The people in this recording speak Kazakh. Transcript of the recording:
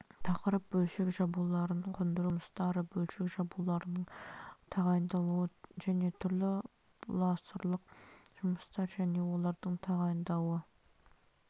тақырып бөлшек жабуларын қондыру бойынша жұмыстары бөлшек жабуларының тағайындалуы және түрлері бұласырлық жұмыстар және олардың тағайындалуы